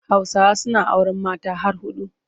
Hausawa suna auren mata har huɗu.